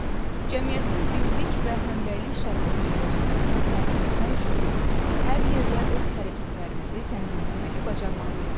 Cəmiyyətin birlik və həmrəylik şəraitində yaşamasını təmin etmək üçün hər yerdə öz hərəkətlərimizi tənzimləməyi bacarmalıyıq.